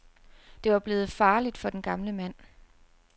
Det var blevet farligt for den gamle mand.